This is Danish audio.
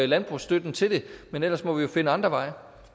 landbrugsstøtten til det men ellers må vi jo finde andre